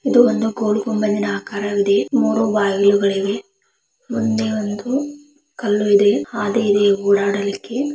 ಇದು ಒಂದು ಗೋಲ್ ಗುಂಬಜ್ ನ ಆಕರವಿದೆ ಮೂರೂ ಬಗಿಲುಗಳಿವೆ ಮುಂದೆ ಒಂದೂ ಕಲ್ಲು ಇದೆ ಹಾದಿ ಇದೆ ಓಡಾಡಲಿಕ್ಕೆ --